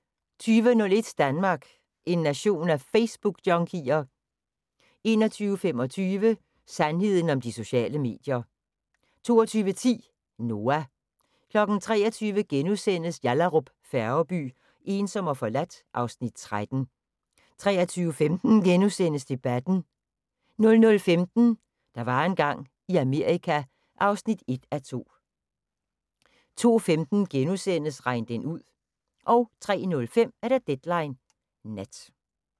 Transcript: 20:01: Danmark – en nation af Facebookjunkier? 21:25: Sandheden om de sociale medier 22:10: Noah 23:00: Yallahrup Færgeby: Ensom og forladt (Afs. 13)* 23:15: Debatten * 00:15: Der var engang i Amerika (1:2) 02:15: Regn den ud * 03:05: Deadline Nat